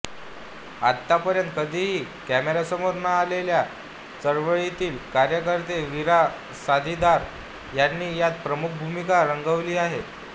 आतापर्यंत कधीही कॅमेऱ्यासमोर न आलेले चळवळीतील कार्यकर्ते वीरा साथीदार यांनी यात प्रमुख भूमिका रंगवली आहे